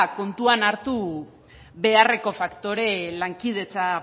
kontuan hartu beharreko faktore lankidetza